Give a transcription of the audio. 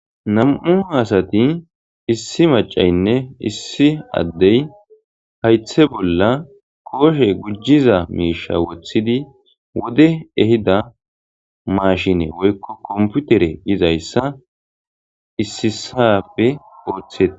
Nam'u hasati issi macaynne issi addey haythe bolla kooshe gujjiza miisha wothidi wode ehida maashine woykko komputere izayssa issisappe ooththete.